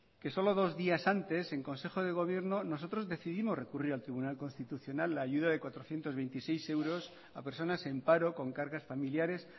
que solo dos días antes en consejo de gobierno nosotros decidimos recurrir al tribunal constitucional la ayuda de cuatrocientos veintiséis euros a personas en paro con cargas familiares